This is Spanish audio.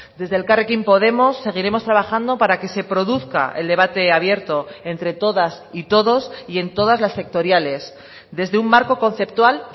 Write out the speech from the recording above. desde elkarrekin podemos seguiremos trabajando para que se produzca el debate abierto entre todas y todos y en todas las sectoriales desde un marco conceptual